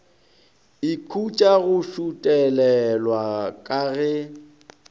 ikhutša go šuthelelwa ka ge